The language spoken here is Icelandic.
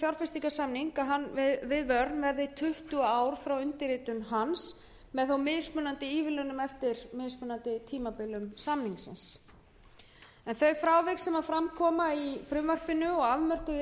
fjárfestingarsamnings við verne verði tuttugu ár frá undirritun hans með mismunandi ívilnunum eftir mismunandi tímabilum samningsins þau frávik sem fram koma í frumvarpinu og afmörkuð eru við